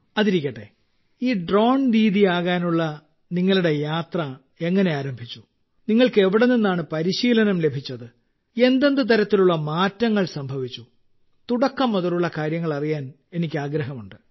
അതിരിക്കട്ടെ ഈ ഡ്രോൺ ദീദി ആകാനുള്ള നിങ്ങളുടെ യാത്ര എങ്ങനെ ആരംഭിച്ചു നിങ്ങൾക്ക് എവിടെ നിന്നാണ് പരിശീലനം ലഭിച്ചത് എന്തെന്ത് തരത്തിലുള്ള മാറ്റങ്ങൾ സംഭവിച്ചു തുടക്കം മുതലുള്ള കാര്യങ്ങൾ അറിയാൻ എനിക്ക് ആഗ്രഹമുണ്ട്